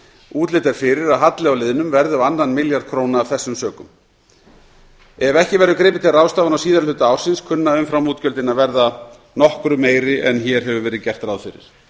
útlit er fyrir að halli á liðnum verði á tvo milljarða króna af þessum sökum ef ekki verður gripið til ráðstafana á síðara hluta ársins kunna umframútgjöldin að verða nokkru meiri en hér hefur verið gert ráð fyrir